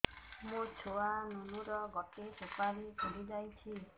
ମୋ ଛୁଆ ନୁନୁ ର ଗଟେ ସୁପାରୀ ଫୁଲି ଯାଇଛି